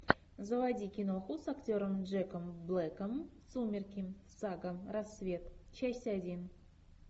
заводи киноху с актером джеком блэком сумерки сага рассвет часть один